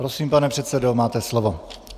Prosím, pane předsedo, máte slovo.